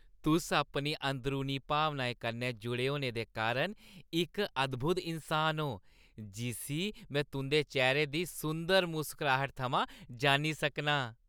तुस अपनी अंदरूनी भावनाएं कन्नै जुड़े दे होने कारण इक अद्‌भुत इन्सान ओ जिस्सी में तुंʼदे चेह्‌रे दी सुंदर मुसकराह्ट थमां जान्नी सकनां।